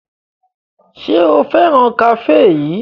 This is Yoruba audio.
Ṣé o fẹ́ràn kafe yìí?